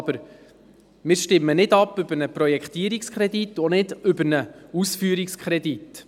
Aber wir stimmen nicht über einen Projektierungskredit ab und auch nicht über einen Ausführungskredit.